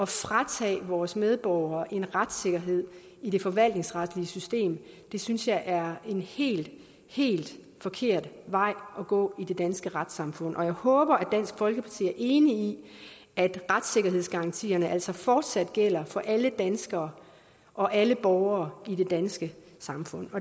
fratage vores medborgere en retssikkerhed i det forvaltningsretlige system synes jeg er en helt helt forkert vej at gå i det danske retssamfund og jeg håber at dansk folkeparti er enig i at retssikkerhedsgarantierne altså fortsat gælder for alle danskere og alle borgere i det danske samfund